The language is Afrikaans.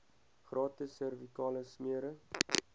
gratis servikale smere